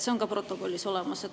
See on ka protokollis olemas.